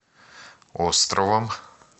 островом